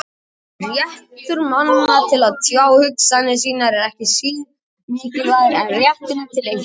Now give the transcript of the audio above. Réttur manna til að tjá hugsanir sínar er ekki síður mikilvægur en rétturinn til einkalífs.